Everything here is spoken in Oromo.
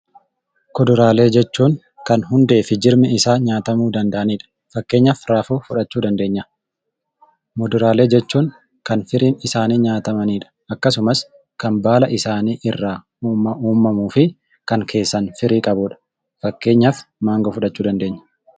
Kuduraalee jechuun kan hundeefi jirmi isaa nyaatamuu danda'anidha. Fakkeenyaaf raafuu fudhachuu ni dandeenya . Muduraalee jechuun kan firiin isaanii nyaatamanidha. Akkasumas kan baala isaanii irraa uummamuufi kan keessaaf firii qabudha. Fakkeenyaaf maangoo fudhachuu dandeenya.